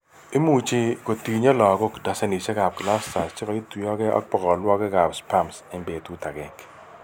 Imuch kotinye lagok dazenishekab clusters cheketuiyoge ak bokolwagikab spams eng' betut agenge